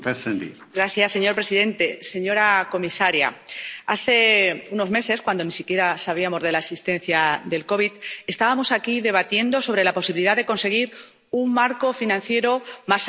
Señor presidente, señora comisaria, hace unos meses, cuando ni siquiera sabíamos de la existencia del COVID, estábamos aquí debatiendo sobre la posibilidad de conseguir un Marco Financiero más ambicioso.